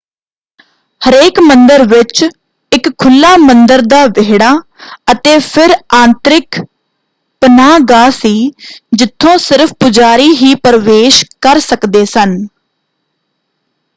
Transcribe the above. ਹਰੇਕ ਮੰਦਰ ਵਿੱਚ ਇਕ ਖੁੱਲ੍ਹਾ ਮੰਦਰ ਦਾ ਵਿਹੜਾ ਅਤੇ ਫਿਰ ਆਂਤਰਿਕ ਪਨਾਹਗਾਹ ਸੀ ਜਿੱਥੋਂ ਸਿਰਫ਼ ਪੁਜਾਰੀ ਹੀ ਪ੍ਰਵੇਸ਼ ਕਰ ਸਕਦੇ ਸਨ।